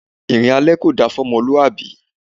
Ìrìn alẹ kò da fún ọmọlúwàbí.